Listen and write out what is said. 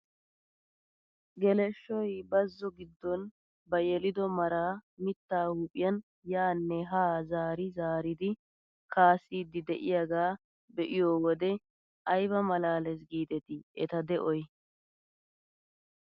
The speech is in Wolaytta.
Geleshshoy bazo giidon ba yelido maraa mittaa huphphiyaan yaanne haa zaari zaaridi kaassidi de'iyaagaa be'iyoo wode ayba malaales gidetii eta de'oy!